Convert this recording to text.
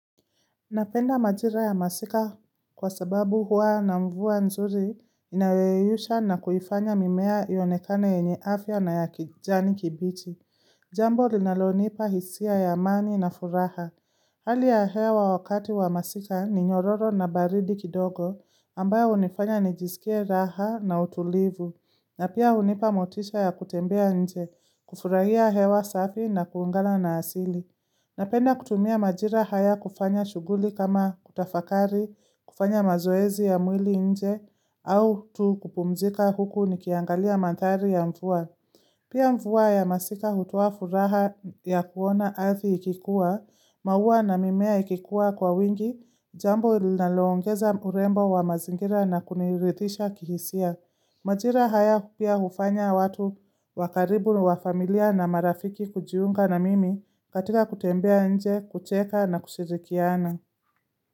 Napenda majira ya masika kwa sababu huwa na mvua nzuri inayoyeyusha na kuifanya mimea iyonekane yenye afya na ya kijani kibichi. Jambo linalonipa hisia ya amani na furaha. Hali ya hewa wakati wa masika ni nyororo na baridi kidogo ambayo hunifanya nijisikie raha na utulivu. Na pia hunipa motisha ya kutembea nje, kufurahia hewa safi na kuungana na asili. Napenda kutumia majira haya kufanya shuguli kama kutafakari, kufanya mazoezi ya mwili nje, au tu! Kupumzika huku nikiangalia mandhari ya mvua. Pia mvua ya masika hutoa furaha ya kuona adhi ikikuwa, maua na mimea ikikuwa kwa wingi, jambo linalo ongeza urembo wa mazingira na kuniridhisha kihisia. Majira haya pia hufanya watu wa karibu wa familia na marafiki kujiunga na mimi katika kutembea nje, kucheka na kushirikiana.